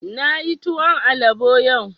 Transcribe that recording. Na yi tuwon alabo yau